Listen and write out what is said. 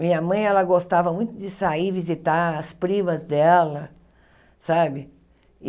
Minha mãe, ela gostava muito de sair e visitar as primas dela, sabe?